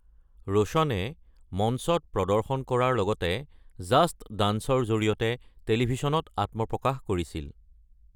ৰোশনে মঞ্চত প্ৰদৰ্শন কৰাৰ লগতে ‘জাস্ট ডান্স' ৰ জৰিয়তে টেলিভিছনত আত্মপ্ৰকাশ কৰিছিল।